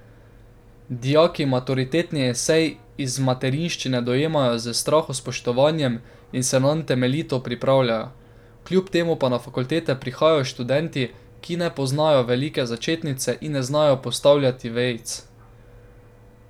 Dijaki maturitetni esej iz materinščine dojemajo s strahospoštovanjem in se nanj temeljito pripravijo, kljub temu pa na fakultete prihajajo študenti, ki ne poznajo velike začetnice in ne znajo postavljati vejic.